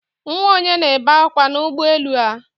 Nwa ònye na-ebe akwa n'ụgbọelu a?